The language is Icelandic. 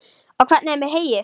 Og hvernig er með heyið?